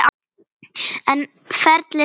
En ferlið sjálft var erfitt?